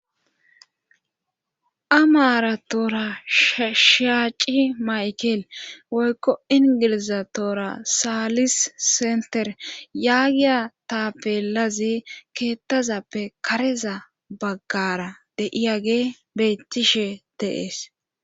A maara toora sshaaci maykel woykko ingiliza toora saalis senter yaagiya tappelazi keettazappe kareza baggara deiyage beyttishe deees.